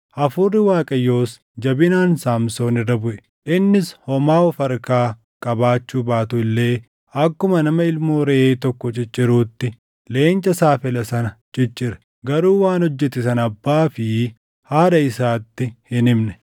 Hafuurri Waaqayyoos jabinaan Saamsoon irra buʼe; innis homaa of harkaa qabaachuu baatu illee akkuma nama ilmoo reʼee tokko cicciruutti leenca saafela sana ciccire. Garuu waan hojjete sana abbaa fi haadha isaatti hin himne.